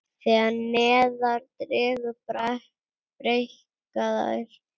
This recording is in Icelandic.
Þegar neðar dregur breikka þær.